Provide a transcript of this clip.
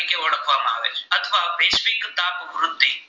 આ પ્રકૂર્તિ